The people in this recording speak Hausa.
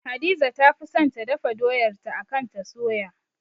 Hadiza ta fi son ta dafa doyar ta akan ta soya